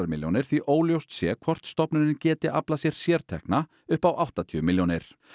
milljónir því óljóst sé hvort stofnunin geti aflað sér sértekna upp á áttatíu milljónir